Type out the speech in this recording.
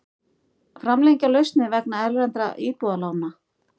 Framlengja lausnir vegna erlendra íbúðalána